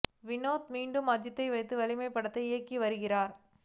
வினோத் மீண்டும் அஜித்தை வைத்து வலிமை படத்தை இயக்கி வருகிறார்